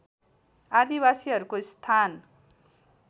आदिवासीहरूको स्थान